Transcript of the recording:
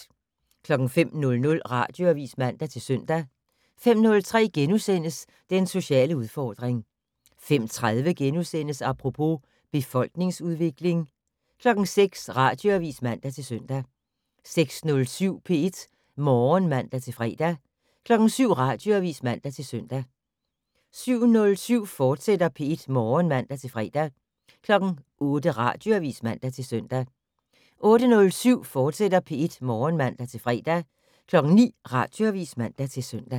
05:00: Radioavis (man-søn) 05:03: Den sociale udfordring * 05:30: Apropos - befolkningsudvikling * 06:00: Radioavis (man-søn) 06:07: P1 Morgen (man-fre) 07:00: Radioavis (man-søn) 07:07: P1 Morgen, fortsat (man-fre) 08:00: Radioavis (man-søn) 08:07: P1 Morgen, fortsat (man-fre) 09:00: Radioavis (man-søn)